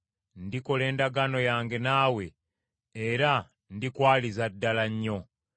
Ndikola endagaano yange naawe era ndikwaliza ddala nnyo.”